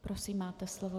Prosím, máte slovo.